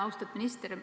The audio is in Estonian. Austatud minister!